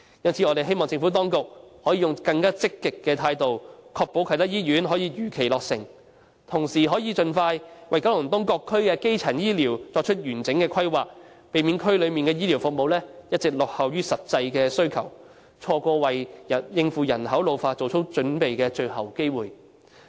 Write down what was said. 因此，我們希望政府當局可以採取更積極的態度，確保啟德醫院可以如期落成，並同時盡快為九龍東各區的基層醫療服務作出完整規劃，避免區內的醫療服務一直落後於實際需求，錯過為應付人口老化作出準備的最後機會。